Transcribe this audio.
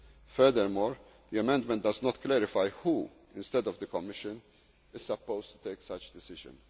apply this measure. Furthermore, the amendment does not clarify who, instead of the Commission, is supposed to